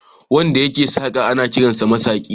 Wanda yake saƙa ana kiransa masaƙi.